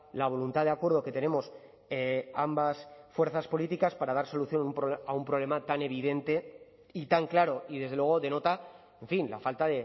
la voluntad de acuerdo que tenemos ambas fuerzas políticas para dar solución a un problema tan evidente y tan claro y desde luego denota en fin la falta